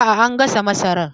Aa, an gasa masarar